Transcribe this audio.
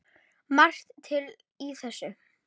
Margt til í þessu.